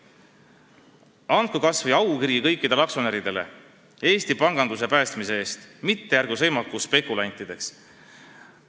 /---/ Andku siis kas või aukiri kõikidele aktsionäridele – Eesti panganduse päästmise eest –, mitte ärgu sõimaku spekulantideks.